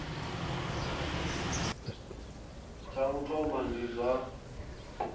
tsha u thoma ndi zwa